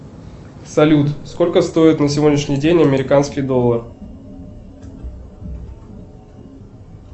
салют сколько стоит на сегодняшний день американский доллар